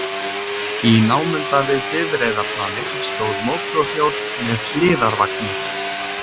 Í námunda við bifreiðaplanið stóð mótorhjól með hliðarvagni.